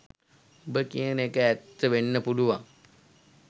උබ කියන එක ඇත්ත වෙන්න පුළුවන්